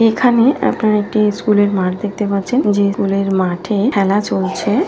এখানেআপনারা একটি স্কুল -এর মাঠ দেখতে পাচ্ছেনযে স্কুল -এর মাঠেখেলা চলছে ।